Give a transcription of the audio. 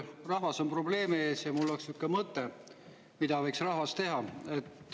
Rahvas on probleemi ees ja mul on mõte, mida võiks rahvas teha.